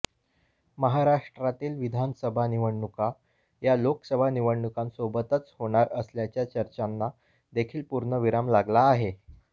महाराष्ट्रातील विधानसभा निवडणुका या लोकसभा निवडणुकांसोबतच होणार असल्याच्या चर्चांना देखील पूर्णविराम लागला आहे